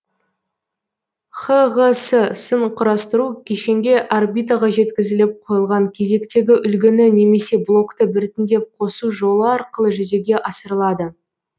хғс сын құрастыру кешенге орбитаға жеткізіліп қойылған кезектегі үлгіні немесе блокты біртіндеп қосу жолы арқылы жүзеге асырылады